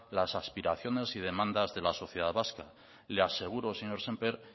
las aspiraciones y demandas de la sociedad vasca y le aseguro señor sémper